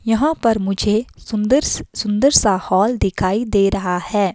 यहाँ पर मुझे सुन्दर्स सुंदर सा हॉल दिखाई दे रहा है।